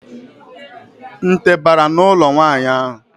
Nte bara n'ụlọ nwaanyị ahụ.